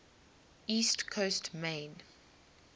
east coast maine